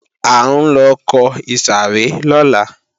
A ńlọ kọ ìsàrẹ́ lọ́la